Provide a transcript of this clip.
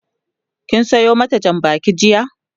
kin Sayo mata Jan bakin jiya?